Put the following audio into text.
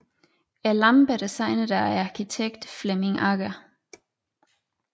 Lampen er designet af arkitekten Flemming Agger